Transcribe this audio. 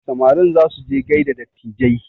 Samarin za su je gaida dattijai